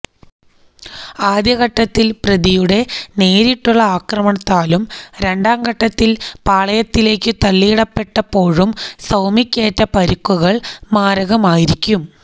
ആദ്യഘട്ടത്തില് പ്രതിയുടെ നേരിട്ടുള്ള ആക്രമണത്താലും രണ്ടാം ഘട്ടത്തില് പാളത്തിലേക്കു തള്ളിയിടപ്പെട്ടപ്പോഴും സൌമ്യക്കേറ്റ പരിക്കുകള് മാരകമായിരിക്കും